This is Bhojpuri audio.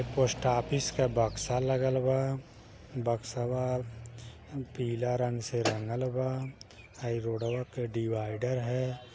पोस्ट ऑफिस का बक्सा लागल बा बक्सवा पीला रंग से रंगल बा । ई रोडवा के डिवाइडर है ।